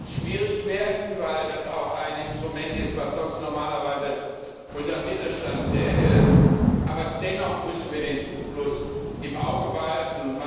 Das wird schwierig werden, weil das auch ein Instrument ist, das normalerweise unserem Mittelstand sehr hilft. Aber dennoch müssen wir den Zufluss im Auge behalten!